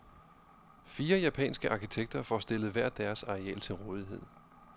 Fire japanske arkitekter får stillet hver deres areal til rådighed.